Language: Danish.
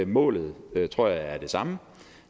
målet tror jeg er det samme